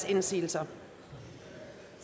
indsigelser